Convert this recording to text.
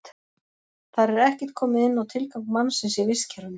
Þar er ekkert komið inn á tilgang mannsins í vistkerfinu.